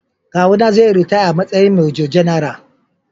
Kawuna zai yi ritaya a matsayin Major-General.